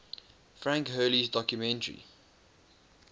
frank hurley's documentary